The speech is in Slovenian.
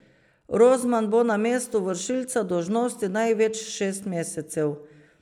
Rozman bo na mestu vršilca dolžnosti največ šest mesecev.